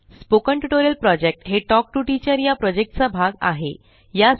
spoken tutorial project हे talk to teacher या प्रॉजेक्टचा भाग आहे